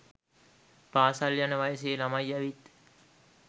පාසල් යන වයසෙ ළමයි ඇවිත්